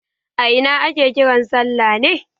A ina ake kiran salla ne?